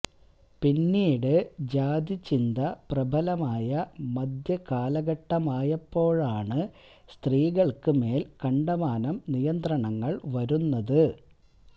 പിന്നീട് ജാതി ചിന്ത പ്രബലമായ മധ്യ കാലഘട്ടമായപ്പോഴാണ് സ്ത്രീകൾക്ക് മേൽ കണ്ടമാനം നിയന്ത്രണങ്ങൾ വരുന്നത്